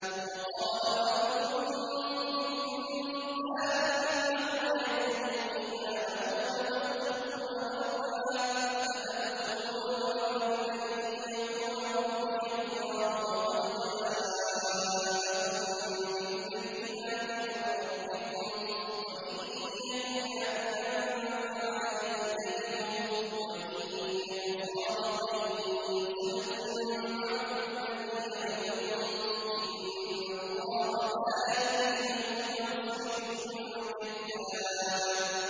وَقَالَ رَجُلٌ مُّؤْمِنٌ مِّنْ آلِ فِرْعَوْنَ يَكْتُمُ إِيمَانَهُ أَتَقْتُلُونَ رَجُلًا أَن يَقُولَ رَبِّيَ اللَّهُ وَقَدْ جَاءَكُم بِالْبَيِّنَاتِ مِن رَّبِّكُمْ ۖ وَإِن يَكُ كَاذِبًا فَعَلَيْهِ كَذِبُهُ ۖ وَإِن يَكُ صَادِقًا يُصِبْكُم بَعْضُ الَّذِي يَعِدُكُمْ ۖ إِنَّ اللَّهَ لَا يَهْدِي مَنْ هُوَ مُسْرِفٌ كَذَّابٌ